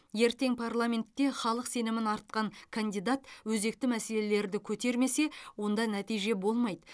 ертең парламентте халық сенімін артқан кандидат өзекті мәселелерді көтермесе онда нәтиже болмайды